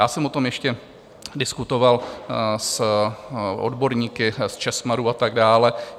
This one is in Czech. Já jsem o tom ještě diskutoval s odborníky z ČESMADu a tak dále.